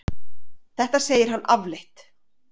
Þetta segir hann afleitt.